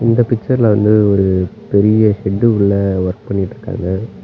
இந்த பிக்சர்ல வந்து ஒரு பெரிய ஷெட்குள்ள வர்க் பண்ணிட்டு இருக்காங்க.